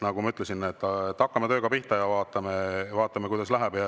Nagu ma ütlesin, hakkame tööga pihta ja vaatame, kuidas läheb.